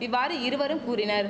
இவ்வாறு இருவரும் கூறினர்